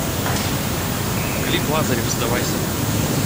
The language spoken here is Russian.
клип лазарев сдавайся